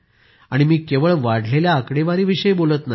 आणि मी केवळ वाढलेल्या आकडेवारीविषयी बोलत नाही